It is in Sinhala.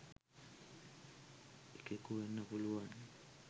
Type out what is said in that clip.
එකෙකු වෙන්න පුළුවන්.